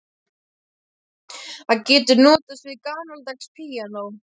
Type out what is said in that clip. Hver getur notast við gamaldags píanó?